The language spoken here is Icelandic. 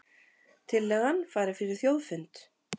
Tillagan fari fyrir þjóðfund